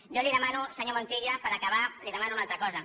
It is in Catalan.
jo li demano senyor montilla per acabar li demano una altra cosa